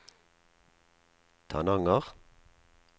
Tananger